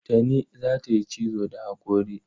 Tani za ta yi cizo da haƙori.